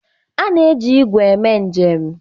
A na-eji ígwè eme njem.